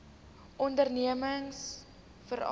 ondernemingsveral